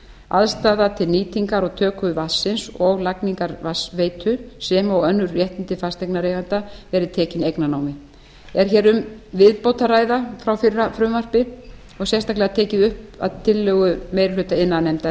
aðstaða til nýtingar á töku vatnsins og lagningar vatnsveitu sem og önnur réttindi fasteignareiganda eru tekin eignarnámi er hér um viðbót að ræða frá fyrra frumvarpi og sérstaklega tekið upp að tillögu meiri hluta iðnaðarnefndar